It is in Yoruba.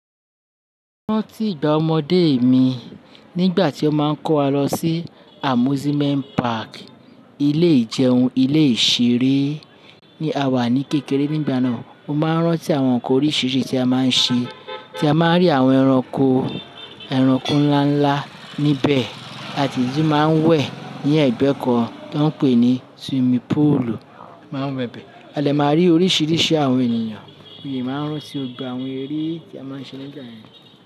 Mo rántí ìgbà ọmọdé mi nígbà tí wọ́n máa ń kó wa lọ sí amusement park, ilé ìjẹun, ilé ìṣeré ní à wà ní kékeré nígbà náà. Mo máa ń rántí àwọn nkan oríṣiríṣi tí a máa ń ṣe, tí a máa ń rí àwọn ẹranko, ẹranko ńlá ńlá níbẹ̀ àti ìdí máa ń wẹ̀ ní ẹ̀gbẹ́ kan tó ń pè ní swimming poolu máa wẹ̀ bẹ. A de máa rí oríṣiríṣi àwọn ènìyàn, mo de máa ń rántí gbogbo àwọn eré tí a máa ń ṣe nígbà yẹn.